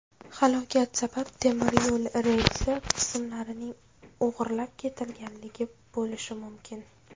Halokat sababi temiryo‘l relsi qismlarining o‘g‘irlab ketilganligi bo‘lishi mumkin.